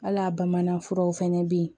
Hal'a bamanan furaw fɛnɛ bɛ yen